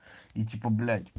ну типо блять